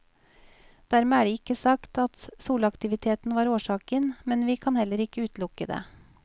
Dermed er det ikke sagt at solaktiviteten var årsaken, men vi kan heller ikke utelukke det.